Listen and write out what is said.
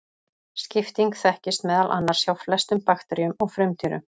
Skipting þekkist meðal annars hjá flestum bakteríum og frumdýrum.